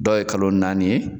Dɔw ye kalo naani ye.